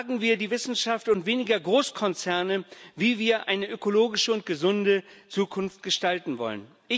Fragen wir die Wissenschaft und weniger Großkonzerne, wie wir eine ökologische und gesunde Zukunft gestalten wollen.